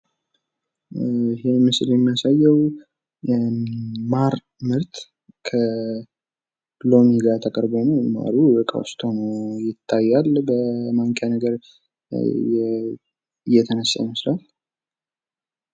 ምስሉ የሚያሳየው የማር ምርት ከሎሚ ጋር ቀርቦ ማሩም በእቃ ሁኖ ይታያል። በማንኪያ ነገር እየተነሳ ይመስላል።